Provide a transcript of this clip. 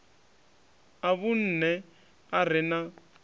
a vhunṋe a re na